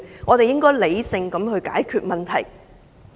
我們應該理性解決問題。